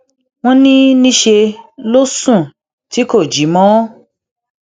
wọn ní níṣẹ ló sùn tí kò jí mọ